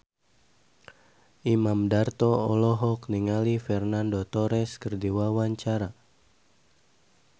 Imam Darto olohok ningali Fernando Torres keur diwawancara